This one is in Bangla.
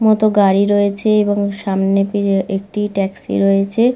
মত গাড়ি রয়েছে এবং সামনে দিয় একটি ট্যাক্সি রয়েছে।